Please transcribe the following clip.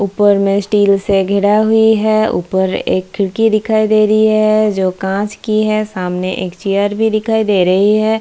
ऊपर में स्टील से घेराब भी है ऊपर एक खड़की दिखाई दे रही है जो काँच की है सामने एक चेयर भी दिखाई दे रही है।